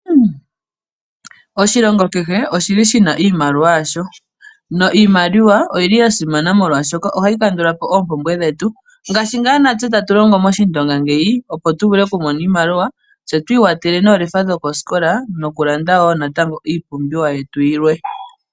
Oshilongo kehe oshina iimaliwa yasho. Iimaliwa oyi li ya simana molwaashoka ohayi kandula po oompumbwe dhetu. Ngaashi ngaa natse tatu longo mOshindonga ngeyi opo tu mone oshimaliwa tse twi ikwathele noolefa dhokosikola nokulanda wo natango iipumbiwa yetu yilwe.